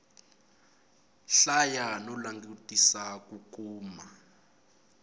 hlaya no langutisela ku kuma